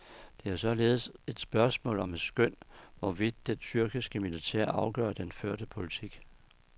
Det er således et spørgsmål om et skøn, hvorvidt det tyrkiske militær afgør den førte politik.